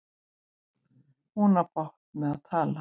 Hún á bágt með að tala.